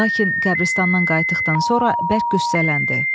Lakin qəbiristandan qayıtdıqdan sonra bərk gücsüzləndi.